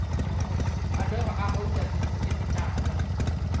a lora a haola meruemetala